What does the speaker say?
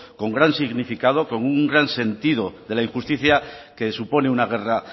con gran significado con un gran sentido de la injusticia que supone una guerra